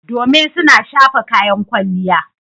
Domin suna shafa kayan kwalliya.